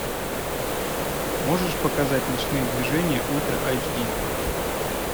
можешь показать ночные движения ультра эйч ди